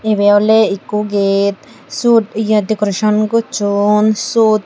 ibey oley ikko gait syot ye dekorason gocchon syot.